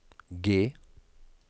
G